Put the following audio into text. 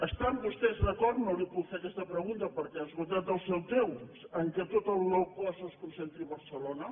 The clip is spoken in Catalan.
estan vostès d’acord no li puc fer aquesta pregunta perquè ha esgotat el seu temps que tot el low cost es concentri a barcelona